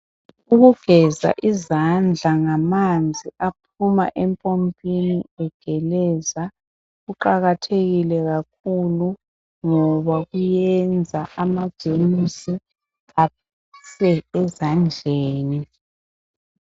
Ukugeza izandla ngamanzi aphuma empompini egeleza kuqakathekile kakhulu ngoba iyenza amajemusi afe ezandleni